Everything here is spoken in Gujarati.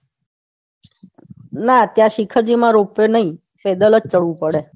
ના ત્યાં શિખર માં રોપવે નઈ પેદલ જ જઉં પડે.